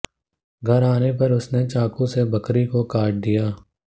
घर आने पर उसने चाकू से बकरी को काट दिया